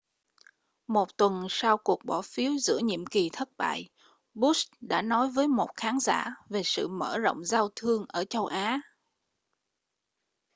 một tuần sau cuộc bỏ phiếu giữa nhiệm kỳ thất bại bush đã nói với một khán giả về sự mở rộng giao thương ở châu á